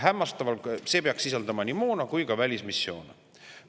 See peaks sisaldama nii moona kui ka välismissioone.